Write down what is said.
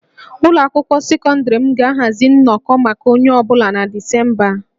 Ụlọ akwụkwọ sekọndịrị m ga-ahazi nnọkọ maka onye ọ bụla na Disemba a